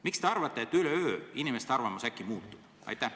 Miks te arvate, et üleöö inimeste arvamus äkki muutub?